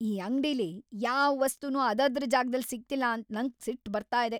ಈ ಅಂಗ್ಡಿಲಿ ಯಾವ್‌ ವಸ್ತುನೂ ಅದದ್ರ ಜಾಗ್ದಲ್ ಸಿಗ್ತಿಲ್ಲ ಅಂತ ನಂಗ್ ಸಿಟ್ ಬರ್ತಾ ಇದೆ.